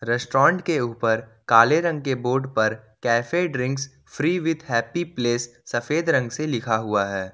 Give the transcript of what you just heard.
Restaurant के ऊपर काले रंग के बोर्ड पर cafe drink free with happy place सफेद रंग से लिखा हुआ है।